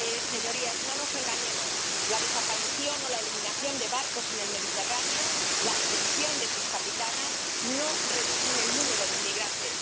Señorías, no nos engañemos la desaparición o la eliminación de barcos en el Mediterráneo, la detención de sus capitanas, no reducen el número de inmigrantes